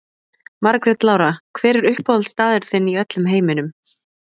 Margrét Lára Hver er uppáhaldsstaðurinn þinn í öllum heiminum?